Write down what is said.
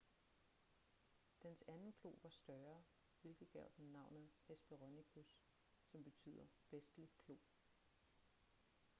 dens anden klo var større hvilket gav den navnet hesperonychus som betyder vestlig klo